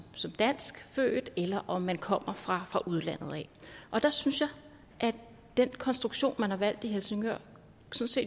som danskfødt eller om man kommer fra udlandet der synes jeg at den konstruktion man har valgt i helsingør